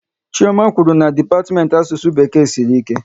Chioma kwụrụ na dipatiment Asụsụ Bekee sịrị ike